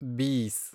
ಬೀಸ್